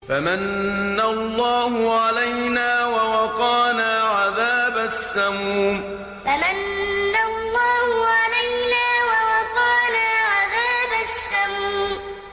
فَمَنَّ اللَّهُ عَلَيْنَا وَوَقَانَا عَذَابَ السَّمُومِ فَمَنَّ اللَّهُ عَلَيْنَا وَوَقَانَا عَذَابَ السَّمُومِ